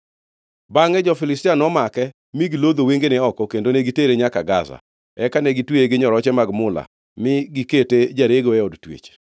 Bangʼe jo-Filistia nomake, mi gilodho wengene oko kendo ne gitere nyaka Gaza. Eka ne gitweye gi nyoroche mag mula, mi gikete jarego e od twech.